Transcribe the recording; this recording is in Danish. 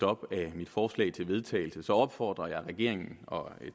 op af mit forslag til vedtagelse opfordrer jeg regeringen